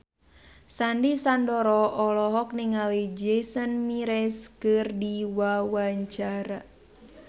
Sandy Sandoro olohok ningali Jason Mraz keur diwawancara